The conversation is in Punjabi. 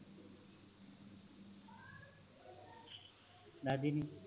ਦੱਸਦੀ ਨਹੀਂ